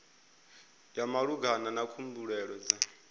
ya malugana na khumbelo dza